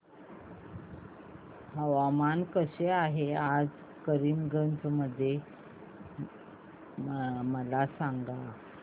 हवामान कसे आहे आज करीमगंज मध्ये मला सांगा